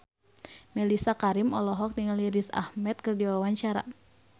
Mellisa Karim olohok ningali Riz Ahmed keur diwawancara